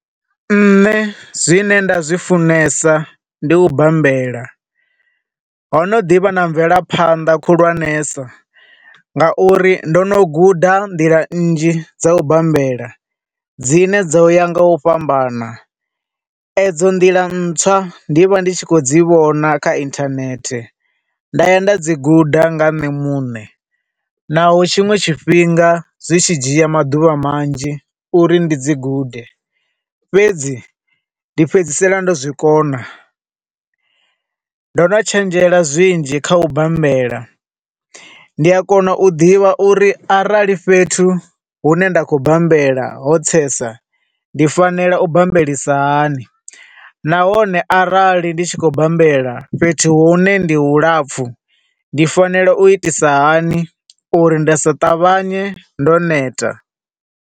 Nṋe zwi ne nda zwifunesa ndi u bambela, ho no ḓivha na mvelaphanḓa khulwanesa, nga uri ndo no guda nḓila nnzhi dza u bambela dzine dzo ya nga u fhambana, e dzo nḓila ntswa ndi vha ndi khou dzi vhona kha internet, nda ya nda dzi guda nga nṋe munṋe, na ho tshiṅwe tshifhinga zwi tshi dzhia maḓuvha manzhi uri ndi dzi gude, fhedzi ndi fhedzisela ndo zwi kona. Ndo no tshenzhela zwinzhi kha u bambela, ndi a kona u ḓivha uri arali fhethu hu ne nda khou bambela ho tsesa, ndi fanela u bambelisa hani, na hone arali ndi tshi khou bambela fhethu hune ndi hu lapfu, ndi fanela u itisa hani uri nda si ṱavhanye ndo neta.